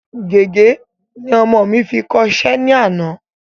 Gègé ni ọmọ mi fi kọ iṣẹ́ ní àná